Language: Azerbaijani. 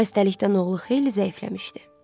Xəstəlikdən oğlu xeyli zəifləmişdi.